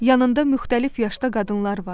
Yanında müxtəlif yaşda qadınlar vardı.